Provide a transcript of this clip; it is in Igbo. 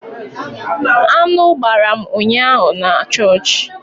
Aṅụ gbara m ụnyaahụ na chọọchị